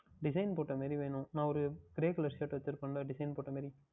Design போட்ட மாதிரி வேண்டும் நான் Grey Colour Shirt Design போட்ட மாதிரி